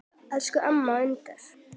Elsku amma Unnur.